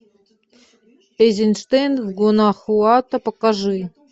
эйзенштейн в гуанахуато покажи